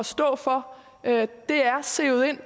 stå for det er sivet ind